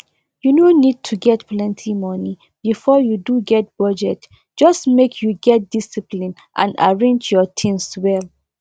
u no need to get plenty money before you do get budget just make you get discipline and arrange your things well